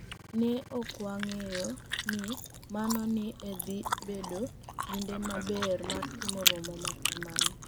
ni e ok wanig'eyo nii mano ni e dhi bedo kinide maber mar timo romo ma kamano. "